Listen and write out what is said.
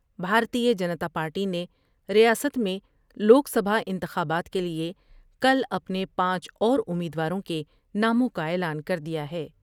بھارتیہ Janata party نے ریاست میں لوک سبھا انتخابات کے لئے کل اپنے پانچ اور امید واروں کے ناموں کا اعلان کر دیا ہے ۔